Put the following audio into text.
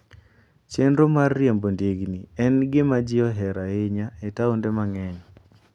Chenro mar riembo ndigni en gima ji ohero ahinya e taonde mang'eny.